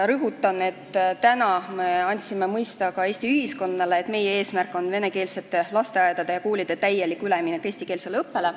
Rõhutan, et täna me andsime mõista ka Eesti ühiskonnale, et meie eesmärk on venekeelsete lasteaedade ja koolide täielik üleminek eestikeelsele õppele.